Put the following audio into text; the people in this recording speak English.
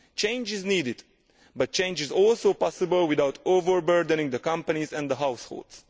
Change is needed, but change is also possible without overburdening companies and households.